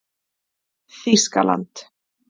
Þýskaland